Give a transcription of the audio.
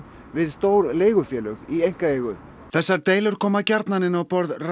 við stór leigufélög í einkaeigu þessar deilur koma gjarnan inn á borð